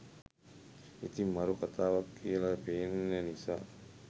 ඉතිං මරු කතාවක් කියල පේන නිසා